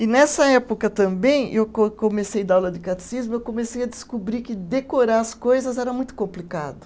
E nessa época também, eu co eu comecei dar aula de catecismo, eu comecei a descobrir que decorar as coisas era muito complicado.